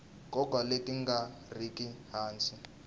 nkoka leti nga riki hansi